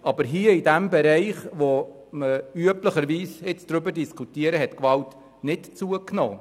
Aber im Bereich, den wir nun diskutieren, hat die Gewalt nicht zugenommen.